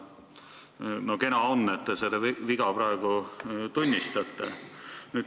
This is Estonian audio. Kena, et te seda viga praegu tunnistate.